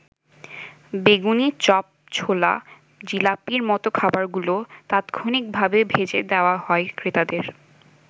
বেগুনি, চপ, ছোলা, জিলাপির মত খাবারগুলো তাৎক্ষণিক ভাবে ভেজে দেওয়া হয় ক্রেতাদের।